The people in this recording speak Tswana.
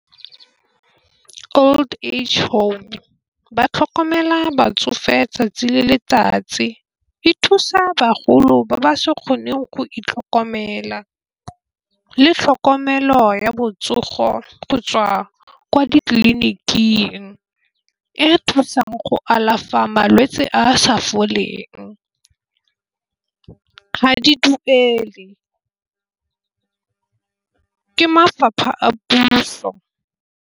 Old age home ba tlhokomela batsofe 'tsatsi le letsatsi e thusa bagolo ba ba sa kgoneng go itlhokomela. Le tlhokomelo ya botsogo go tswa ko ditleliniking e thusang go alafa malwetse a a sa foleng. Ga di duele ke mafapha a puso.